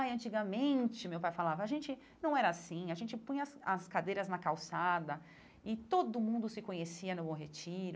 Ai antigamente, meu pai falava, a gente não era assim, a gente punha as as cadeiras na calçada e todo mundo se conhecia no Bom Retiro.